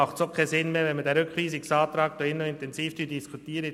Dann ist es auch sinnlos, diesen Rückweisungsantrag im Saal intensiv zu diskutieren.